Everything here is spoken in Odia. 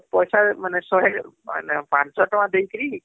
ପଇସା ମାନେ ଶହେ ମାନେ ପାଞ୍ଚ ସହ ଟଙ୍କା ଦେଇକିରି